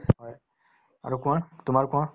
হয়, আৰু কোৱা তোমাৰ কোৱা